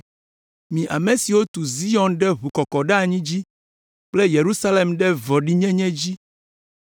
Mi ame siwo tu Zion ɖe ʋukɔkɔɖeanyi dzi kple Yerusalem ɖe vɔ̃ɖinyenye dzi.